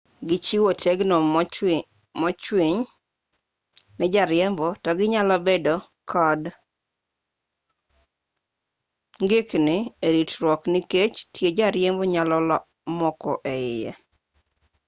gichiwo tegno mochwiny ne jariembo to ginyalo bedo kod ng'ikni eritruot nikech tie jariembo nyalo moko eiye